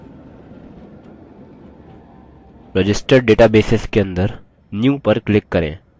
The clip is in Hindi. registered databases के अंदर new पर click करें